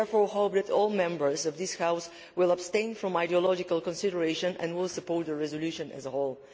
I therefore hope that all Members of this House will abstain from ideological consideration and will support the resolution as a whole.